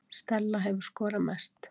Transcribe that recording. Stella hefur skorað mest